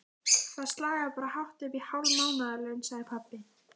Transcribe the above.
Það slagar bara hátt uppí hálf mánaðarlaun, sagði pabbi.